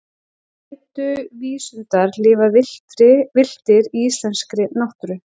gætu vísundar lifað villtir í íslenskri náttúru